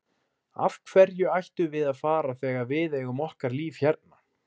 Af hverju ættum við að fara þegar við eigum okkar líf hérna?